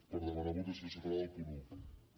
per demanar votació separada del punt un